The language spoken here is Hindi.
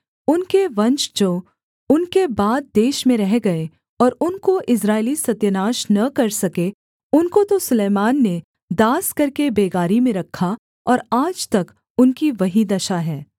उनके वंश जो उनके बाद देश में रह गए और उनको इस्राएली सत्यानाश न कर सके उनको तो सुलैमान ने दास करके बेगारी में रखा और आज तक उनकी वही दशा है